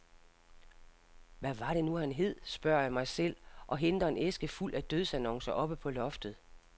Hvad var det nu han hed, spørger jeg mig selv og henter en æske fuld af dødsannoncer oppe på loftet.